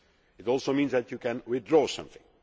it also means that you can withdraw something.